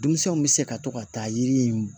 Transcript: Denmisɛnw bɛ se ka to ka taa yiri in